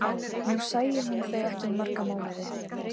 Nú sæi hún þau ekki í marga mánuði.